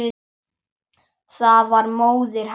Það var móðir hennar.